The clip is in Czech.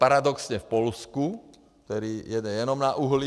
Paradoxně v Polsku, které jede jenom na uhlí.